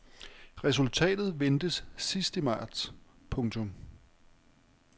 Resultatet ventes sidst i marts. punktum